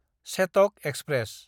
Chetak express